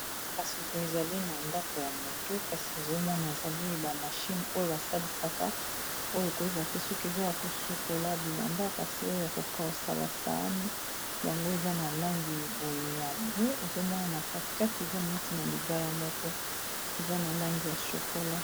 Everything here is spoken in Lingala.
kasi boye ezali na ndako ya motu kasi ezomona ezali bamashine oyo basalisaka oyo koyeba te soki eza ya kosukola bilamba kasi oyo ya kokausa basaani yango eza na langi boye ya bwe ezomona na katikati eza neti na libaya moko eza na langi ya shokola